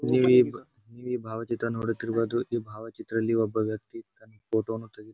ಈ ಭಾವಚಿತ್ರ ನೋಡುತಿರಬಹುದು ಈ ಭಾವಚಿತ್ರದಲಿ ಒಬ್ಬ ವ್ಯಕ್ತಿ ತನ್ ಫೋಟೋ ವನ್ನು ತೆಗೆ --